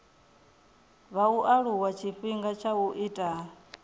vhaaluwa tshifhinga tsha u ita